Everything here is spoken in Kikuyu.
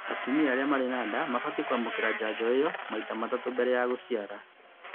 Atumia marĩ na nda mabatiĩ kwamũkĩra njanjo ĩyo maita matatũ mbele ya gũciara